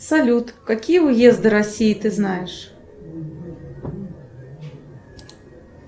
салют какие уезды россии ты знаешь